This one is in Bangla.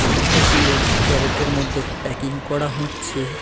টমেটো -গুলো ক্যারেটের -এর মধ্যে প্যাকিং করা হচ্ছে।